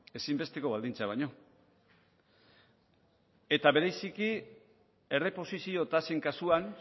ezinbesteko baldintza baino eta bereziki erreposizio tasen kasuan